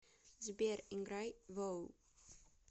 сбер играй воу